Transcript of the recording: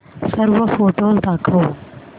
सर्व फोटोझ दाखव